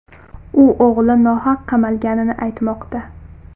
U o‘g‘li nohaq qamalganini aytmoqda.